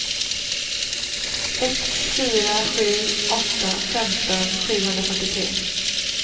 ett fyra sju åtta femton sjuhundrafyrtiotre